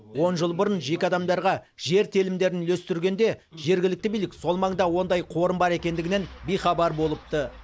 он жыл бұрын жеке адамдарға жер телімдерін үлестіргенде жергілікті билік сол маңда ондай қорым бар екендігінен бейхабар болыпты